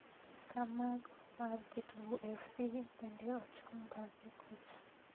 ka mago mar Kitungu Fc bende ochung bathe kocha